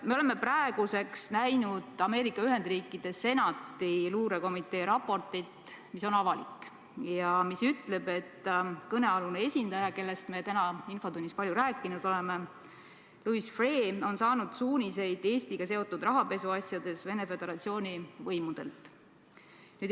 Me oleme praeguseks näinud Ameerika Ühendriikide Senati luurekomitee raportit, mis on avalik ja mis ütleb, et kõnealune esindaja, kellest me täna infotunnis palju rääkinud oleme – Louis Freeh –, on saanud suuniseid Eestiga seotud rahapesuasjades Venemaa Föderatsiooni võimudelt.